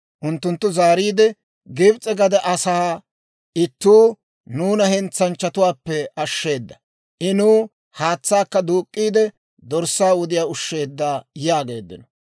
Unttunttu zaariide, «Gibs'e gade asaa ittuu nuuna hentsanchchatuwaappe ashsheeda; I nuw haatsaakka duuk'k'iide dorssaa wudiyaa ushsheedda» yaageeddino.